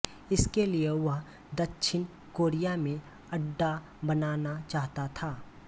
इसके लिए वह दक्षिण कोरिया में अड्डा बनाना चाहता था